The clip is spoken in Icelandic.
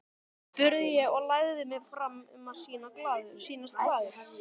spurði ég og lagði mig fram um að sýnast glaður.